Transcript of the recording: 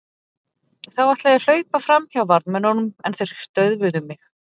Þá ætlaði ég að hlaupa fram hjá varðmönnunum en þeir stöðvuðu mig.